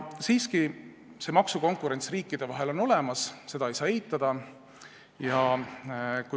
Siiski, maksukonkurents riikide vahel on olemas, seda ei saa eitada.